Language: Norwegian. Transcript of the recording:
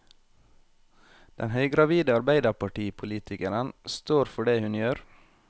Den høygravide arbeiderpartipolitikeren står for det hun gjør.